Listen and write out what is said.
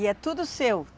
E é tudo seu?